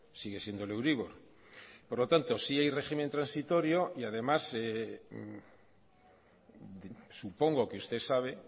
sigue siendo el euribor por lo tanto sí hay régimen transitorio y además supongo que usted sabe